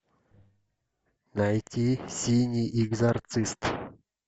найти синий экзорцист